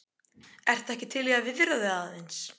Ertu ekki til í að viðra þig aðeins?